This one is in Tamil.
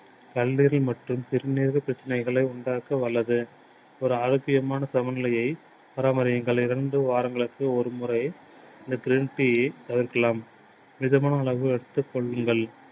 கல்லீரல் மாற்றும் சிறுநீரக பிரச்சனைகளை உண்டாக்க வல்லது. ஒரு ஆரோக்கியமான சம நிலையை பராமரியுங்கள். இரண்டு வாரங்களுக்கு ஒரு முறை இந்த green tea தவிர்க்கலாம். மிதமான உணவு